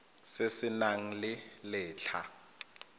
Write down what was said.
se se nang le letlha